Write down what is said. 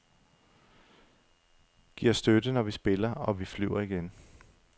Giv os støtte, når vi spiller, og vi flyver igen.